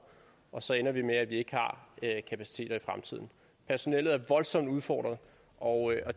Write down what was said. og så ender det med at vi ikke har kapaciteter i fremtiden personellet er voldsomt udfordret og og